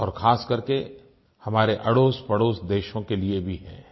और ख़ास करके हमारे अड़ोसपड़ोस देशों के लिए भी है